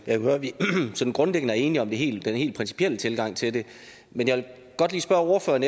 at vi sådan grundlæggende er enige om den helt principielle tilgang til det men jeg vil godt lige spørge ordføreren